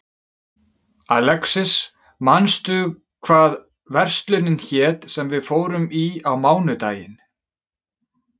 Alexis, manstu hvað verslunin hét sem við fórum í á mánudaginn?